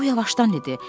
O yavaşdan dedi: